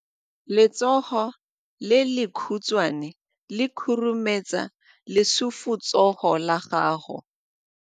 Letsogo le lekhutshwane le khurumetsa lesufutsogo la gago.